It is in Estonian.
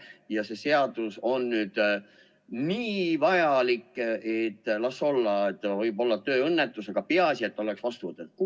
Kas see seadus on nüüd nii vajalik, et mis sest, et võib olla see on tööõnnetus, aga peaasi et oleks vastu võetud?